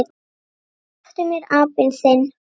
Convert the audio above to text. SLEPPTU MÉR, APINN ÞINN!